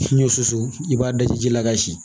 N'i y'o susu i b'a daji ji la ka si